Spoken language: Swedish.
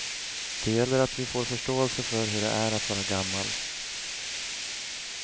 Det gäller att vi får förståelse för hur det är att vara gammal.